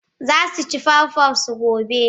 Za su ci pawpaw su gobe.